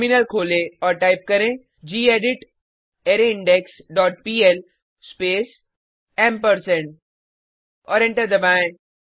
terminal खोलें और type करें gedit array index dot PL space ampersand और एंटर दबाएँ